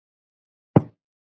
Hverra munum við helst sakna?